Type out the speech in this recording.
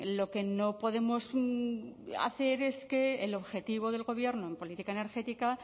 lo que no podemos hacer es que el objetivo del gobierno en política energética